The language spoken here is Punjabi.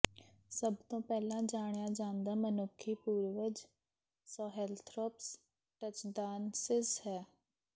ਸਭ ਤੋਂ ਪਹਿਲਾਂ ਜਾਣਿਆ ਜਾਂਦਾ ਮਨੁੱਖੀ ਪੂਰਵਜ ਸੋਹੈਲਥ੍ਰੋਪਸ ਟਚਦਾਨਸਿਸ ਹੈ